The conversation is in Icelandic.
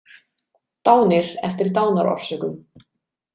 Dánir eftir dánarorsökum.